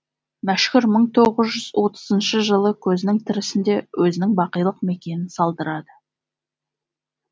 мәшһүр мың тоғыз жүз отызыншы жылы көзінің тірісінде өзінің бақилық мекенін салдырады